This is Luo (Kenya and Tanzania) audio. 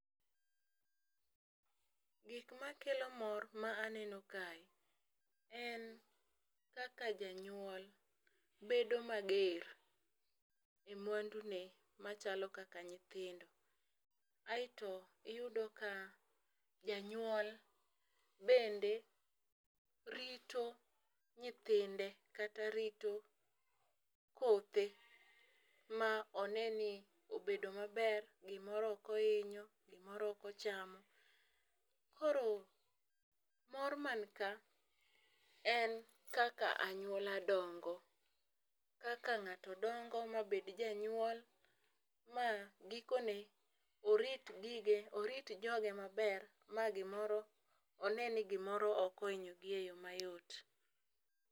Gik ma kelo mor ma aneno kae, en kaka janyuol, bedo mager gi mwandune, machalo kaka nyithindo. Aeto iyudo ka janyuol bende rito nyithinde, kata rito kothe, ma one ni obedo maber, gimoro ok ohinyo, gimoro ok ochamo. Koro mor mani ka, en kaka anyuola dongo. Kaka ngáto dongo ma bed janyuol, ma gikone, orit gige, orit joge maber ma gimoro, one ni gimoro ok ohinyo gi e yo mayot.